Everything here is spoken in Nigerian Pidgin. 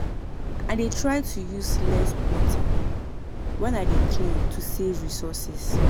I dey try to use less water when I dey clean to save resources.